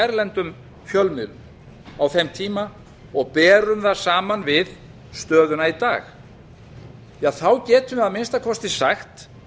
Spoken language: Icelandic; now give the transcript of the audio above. erlendum fjölmiðlum á þeim tíma og berum það saman við stöðuna í dag þá getum við að minnsta kosti sagt